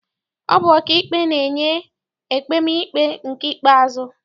Ọ bụ ọkaikpe na-enye ekpemikpe nke ikpeazụ.